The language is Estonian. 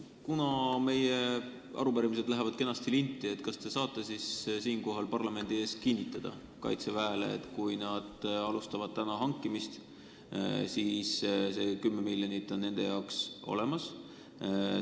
Kuna meie arupärimised lähevad kenasti linti, siis kas te saate siinkohal parlamendi ees kinnitada Kaitseväele, et kui nad alustavad täna hankimist, siis see 10 miljonit on nende jaoks olemas?